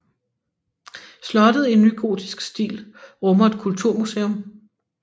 Slottet i nygotisk stil rummer et kulturmuseum